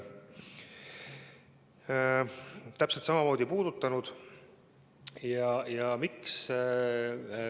Täpselt samamoodi on ta ka seda puudutanud.